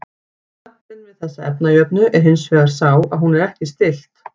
Gallinn við þessa efnajöfnu er hins vegar sá að hún er ekki stillt.